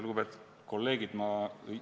Lugupeetud kolleegid!